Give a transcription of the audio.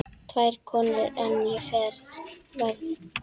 Tvær konur enn á ferð.